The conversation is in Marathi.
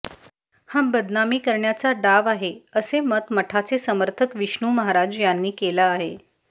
हा बदनामी करण्याचा डाव आहे असे मत मठाचे समर्थक विष्णू महराज यांनी केला आहे